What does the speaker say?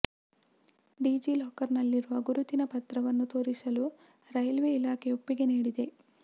DG ಲಾಕರ್ನಲ್ಲಿರುವ ಗುರುತಿನ ಪತ್ರವನ್ನು ತೋರಿಸಲು ರೈಲ್ವೆ ಇಲಾಖೆ ಒಪ್ಪಿಗೆ ನೀಡಿದೆ